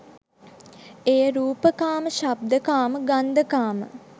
එය රූපකාම, ශබ්දකාම, ගන්ධකාම,